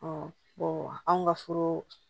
anw ka furu